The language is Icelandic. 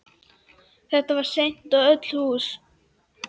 Þetta var sent í öll hús!